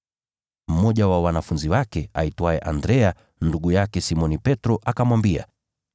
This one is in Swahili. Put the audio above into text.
Mmoja wa wanafunzi wake aitwaye Andrea, ndugu yake Simoni Petro, akamwambia,